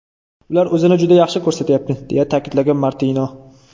Ular o‘zini juda yaxshi ko‘rsatyapti”, deya ta’kidlagan Martino.